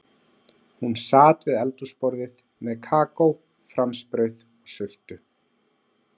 Hún sat við eldhúsborðið með kakó, franskbrauð og sultu.